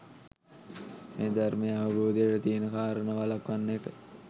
මේ ධර්මය අවබෝධයට තියෙන කාරණා වළක්වන එක